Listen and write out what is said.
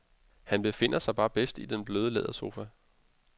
Han befinder sig bare bedst i den bløde lædersofa.